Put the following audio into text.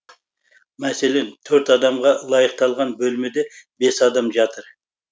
мәселен төрт адамға лайықталған бөлмеде бес адам жатыр